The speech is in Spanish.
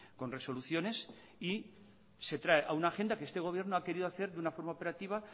con resoluciones y se trae a una agenda que este gobierno ha querido hacer de una forma operativa